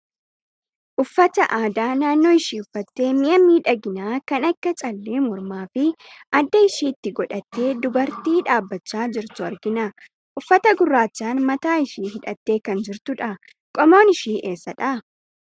Uffata aadaa naannoo ishii uffattee, mi'a miidhaginaa kan akka callee mormaa fi adda ishiitti godhattee dubartii dhaabachaa jirtu argina. Uffata gurraachaan mataa ishii hidhattee kan jirtu dha. Qomoon ishii eessadha?